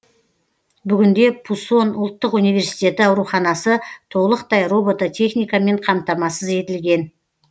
бүгінде пусон ұлттық университеті ауруханасы толықтай робототехникамен қамтамасыз етілген